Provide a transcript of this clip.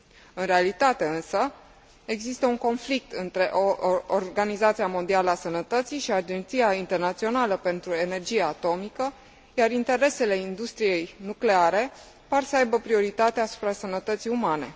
În realitate însă, există un conflict între Organizația Mondială a Sănătății și Agenția Internațională pentru Energia Atomică, iar interesele industriei nucleare par să aibă prioritate asupra sănătății umane.